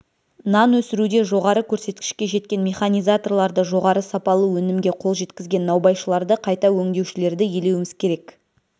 нан өсіруде жоғары көрсеткішке жеткен механизаторларды жоғары сапалы өнімге қол жеткізген наубайшыларды қайта өңдеушілерді елеуіміз керек